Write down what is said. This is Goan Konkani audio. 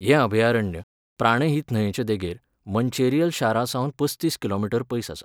हें अभयारण्य, प्राणहित न्हंयचे देगेर, मंचेरियल शारासावन पस्तीस किमी पयस आसा.